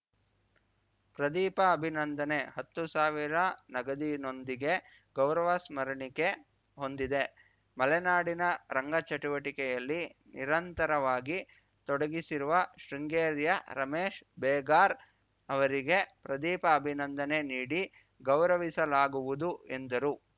ಪ್ರದೀಪ ಅಭಿನಂದನೆ ಹತ್ತು ಸಾವಿರ ನಗದಿನೊಂದಿಗೆ ಗೌರವ ಸ್ಮರಣಿಕೆ ಹೊಂದಿದೆ ಮಲೆನಾಡಿನ ರಂಗಚಟುವಟಿಕೆಯಲ್ಲಿ ನಿರಂತರವಾಗಿ ತೊಡಗಿಸಿರುವ ಶೃಂಗೇರಿಯ ರಮೇಶ್‌ ಬೇಗಾರ್ ಅವರಿಗೆ ಪ್ರದೀಪ ಅಭಿನಂದನೆ ನೀಡಿ ಗೌರವಿಸಲಾಗುವುದು ಎಂದರು